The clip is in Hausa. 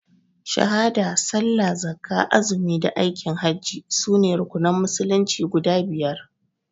Shahada, Sallah, Zakkah, Azumi da Aikin hajji sune rukunan musulunci guda biyar.